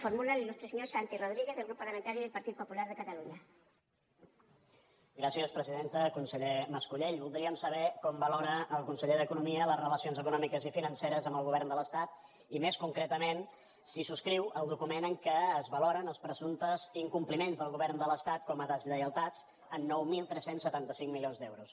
conseller mas colell voldríem saber com valora el conseller d’economia les relacions econòmiques i financeres amb el govern de l’estat i més concretament si subscriu el document en què es valoren els presumptes incompliments del govern de l’estat com a deslleialtats en nou mil tres cents i setanta cinc milions d’euros